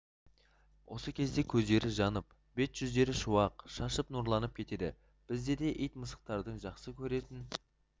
осы кезде көздері жанып бет-жүздері шуақ шашып нұрланып кетеді бізде де ит мысықтарды жақсы көретін